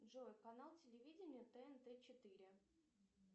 джой канал телевидения тнт четыре